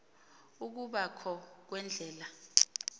ukuba kho kweendlela